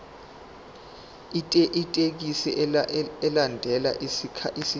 ithekisthi ilandele isakhiwo